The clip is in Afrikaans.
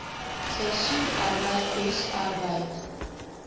seisoensarbeid oes arbeid